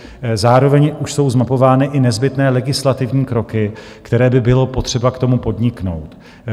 Zároveň už jsou zmapovány i nezbytné legislativní kroky, které by bylo potřeba k tomu podniknout.